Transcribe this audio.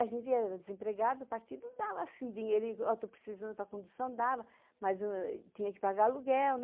A gente era desempregado, o partido dava dinheirinho, auto-precisando para a condução, dava, mas tinha que pagar aluguel.